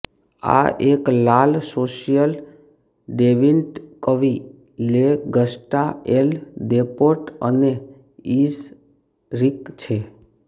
આ એક લાલ સોશિયલ ડેવિન્ટ કવિ લે ગસ્ટા ઍલ દેપોર્ટ અને ઇઝરિક છે